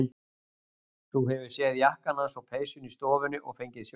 Þú hefur séð jakkann hans og peysuna í stofunni og fengið sjokk.